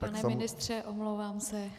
Pane ministře, omlouvám se.